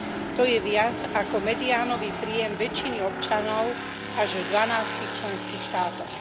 To je viac, ako mediánový príjem väčšiny občanov až v dvanástich členských štátoch.